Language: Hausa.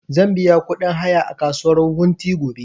Zan biya ƙudin haya a kasuwar wunti gobe